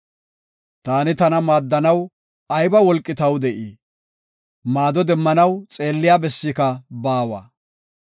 Taani tana maaddanaw ayba wolqi taw de7ii? maado demmanaw xeelliya bessika baawa.